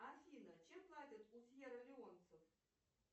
афина чем платят у фьер леонцев